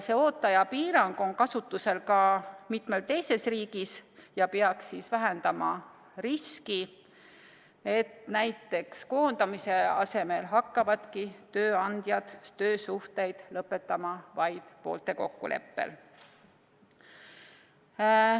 See ooteaja piirang on kasutusel ka mitmes teises riigis ja peaks vähendama riski, et näiteks koondamise asemel hakkavadki tööandjad töösuhteid lõpetama vaid poolte kokkuleppel.